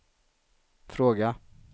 fråga